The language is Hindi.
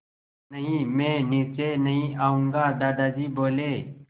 नहीं मैं नीचे नहीं आऊँगा दादाजी बोले